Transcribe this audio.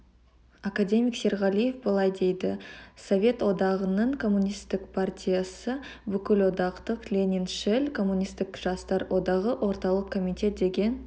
академик серғалиев былай дейді совет одағының коммунистік партиясы бүкілодақтық лениншіл коммунистік жастар одағы орталық комитет деген